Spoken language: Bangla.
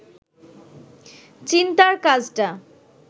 চিন্তার কাজটা